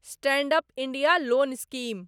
stand up India loan scheme